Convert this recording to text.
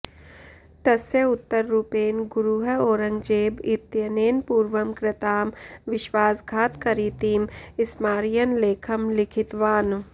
तस्य उत्तररूपेण गुरुः औरङ्गजेब इत्यनेन पूर्वं कृतां विश्वासघातकरीतिं स्मारयन् लेखं लिखितवान्